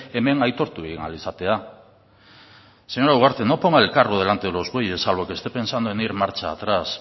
hemen aitortu egin ahal izatea señora ugarte no ponga el carro delante de los bueyes salvo que esté pensando en ir marcha atrás